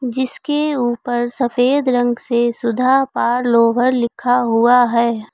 जिसके ऊपर सफेद रंग से सुधा पार्लोवर लिखा हुआ है।